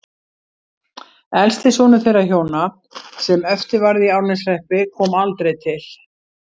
Elsti sonur þeirra hjóna, sem eftir varð í Árneshreppi, kom aldrei til